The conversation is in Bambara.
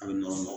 A bɛ nɔgɔn